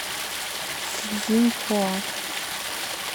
цзиньхуа